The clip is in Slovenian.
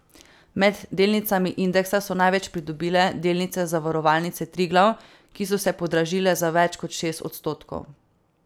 Med delnicami indeksa so največ pridobile delnice Zavarovalnice Triglav, ki so se podražile za več kot šest odstotkov.